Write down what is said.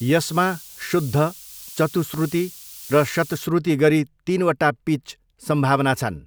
यसमा शुद्ध, चतुश्रुति र शतश्रुति गरी तिनवटा पिच सम्भावना छन्।